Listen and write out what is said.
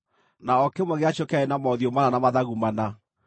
na o kĩmwe gĩacio kĩarĩ na mothiũ mana na mathagu mana.